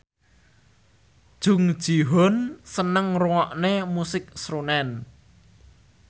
Jung Ji Hoon seneng ngrungokne musik srunen